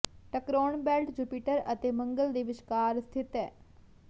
ਟਕਰਾਉਣ belt Jupiter ਅਤੇ ਮੰਗਲ ਦੇ ਵਿਚਕਾਰ ਸਥਿਤ ਹੈ